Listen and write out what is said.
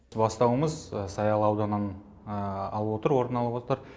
бастауымыз саялы ауданнан орын алып отыр